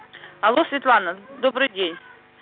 алло светлана добрый день